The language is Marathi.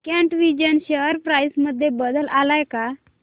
कॅटविजन शेअर प्राइस मध्ये बदल आलाय का